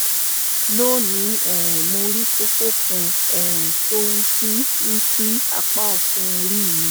lónìí um mo rí kókó kan um tó wú sí wú sí apá ọ̀tún orí mi